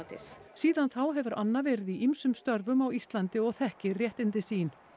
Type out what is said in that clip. síðan þá hefur Anna verið í ýmsum störfum á Íslandi og þekkir réttindi sín